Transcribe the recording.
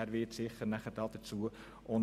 Er wird sicher noch Stellung dazu nehmen.